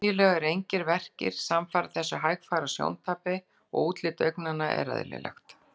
Venjulega eru engir verkir samfara þessu hægfara sjóntapi og útlit augnanna er eðlilegt.